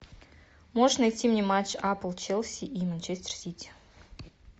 можешь найти мне матч апл челси и манчестер сити